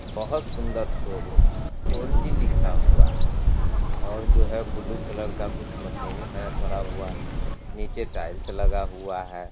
बहुत सुंदर शोरूम है फॉर जी लिखा हुआ है और जो है ब्लू कलर का कुछ मशीन है पड़ा हुआ निचे टाइल्स लगा हुआ है।